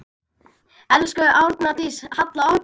Elsku Arndís Halla okkar.